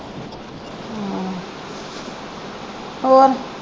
ਹੋਰ?